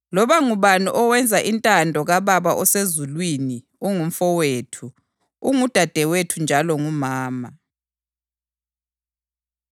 Loba ngubani owenza intando kaBaba osezulwini ungumfowethu, ungudadewethu njalo ngumama.”